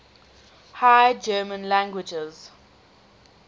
high german languages